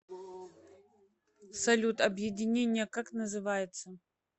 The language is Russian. салют объединение как называется